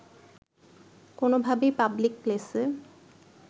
কোনোভাবেই পাবলিক প্লেসে